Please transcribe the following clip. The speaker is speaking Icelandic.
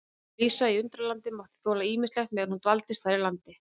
Lísa í Undralandi mátti þola ýmislegt meðan hún dvaldist þar í landi.